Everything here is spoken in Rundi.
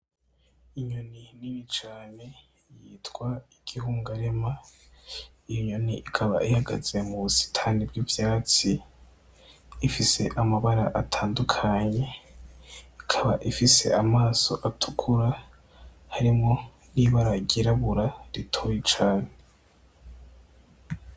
Inyoni nini cane yitwa igihungarema. Iyo nyoni ikaba ihagaze mubusitani bw'ivyatsi ; ifise amabara atandukanye ikaba, ifise amaso atukura harimwo n'ibara ry'irabura ritoya cane.